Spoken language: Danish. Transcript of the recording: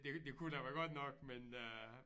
Det det kunne jeg da godt nok men øh